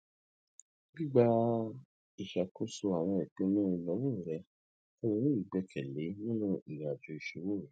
gbigba iṣakoso awọn ipinnu inawo rẹ fun u ni igbẹkẹle nla ninu irinajo iṣowo rẹ